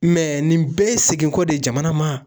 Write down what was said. Mɛ nin bɛɛ ye segin kɔ de jamana maa